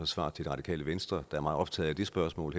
svar til det radikale venstre der er meget optaget af det spørgsmål